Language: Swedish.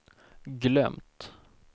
glömt